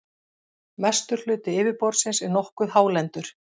Mestur hluti yfirborðsins er nokkuð hálendur.